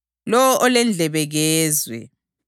Lowo olendlebe kezwe.”